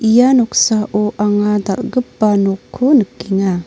ia noksao ang·a dalgipa noko nikenga.